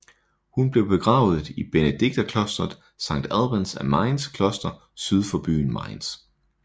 Hun blev begravet i benediktinerklosteret Sankt Albans af Mainzs kloster syd for byen Mainz